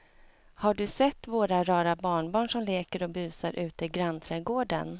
Har du sett våra rara barnbarn som leker och busar ute i grannträdgården!